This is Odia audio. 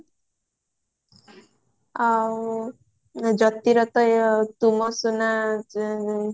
ଆଉ ଜତିରତ ତୁ ମୋ ସୁନା